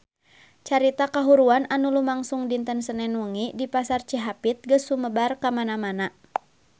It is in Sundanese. Carita kahuruan anu lumangsung dinten Senen wengi di Pasar Cihapit geus sumebar kamana-mana